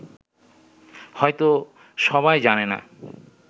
হয়ত সবাই জানে না